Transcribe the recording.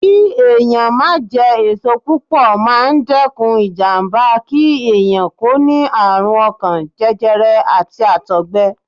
Kí ẹ̀yàn máa jẹ èso púpọ̀ máa ń dẹ́kun ìjàmbá kí ẹ̀yàn kó ní àrùn ọkàn, jẹjẹrẹ, àti Àtọ̀gbẹ.